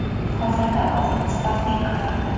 Hozirda o‘zim ustozlik qilyapman.